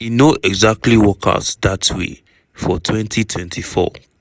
e no exactly work out dat way for 2024.